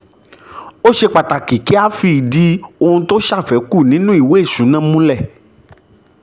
ó ṣe pàtàkì kí um a fìdí ohun tó ṣàfẹ́kù nínú ìwé ìṣúná múlẹ̀. um